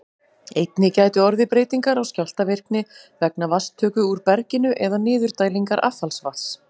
Einnig gætu orðið breytingar á skjálftavirkni vegna vatnstöku úr berginu eða niðurdælingar affallsvatns.